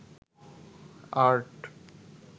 art